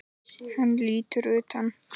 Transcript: Hún lítur undan.